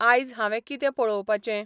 आयज हांवे किदें पळोवपाचें ?